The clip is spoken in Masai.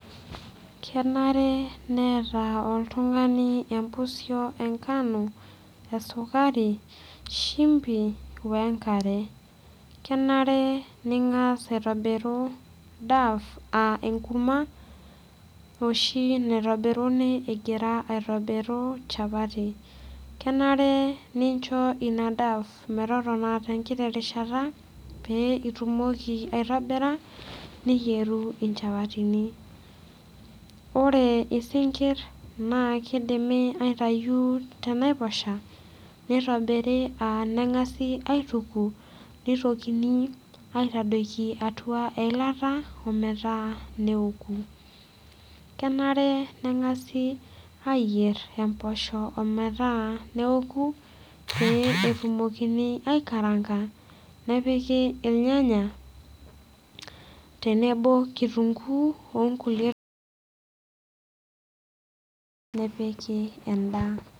Kenare neeta oltung'ani empusio enkano esukari shimbi wenkare kenare ning'as aitobiru dough aa enkurma oshi naitobiruni egira aitobiru chapati kenare nincho ina dough metotona tenkiti rishata pee itumoki aitobira niyieru inchapatini ore isinkirr naa kidimi aitayu tenaiposha nitobiri uh neng'asi aituku nitokini aitadoiki atua eilata ometaa neoku kenare neng'asi ayierr emposho ometaa neoku pee etumokini aikaranga nepiki ilnyanya tenebo kitunguu onkulie nepiki endaa.